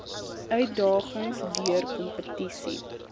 uitdagings deur kompetisie